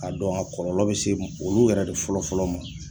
Ka dɔn a kɔlɔlɔ be se olu yɛrɛ de fɔlɔ fɔlɔ ma